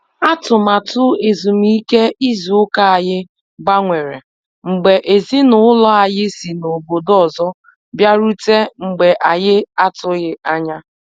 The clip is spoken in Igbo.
Atụmatụ ezumike ịzụ ụka anyị gbanwere, mgbe ezinaụlọ anyị si n'ọbọdọ ọzọ bịarute mgbe anyị atughi anya.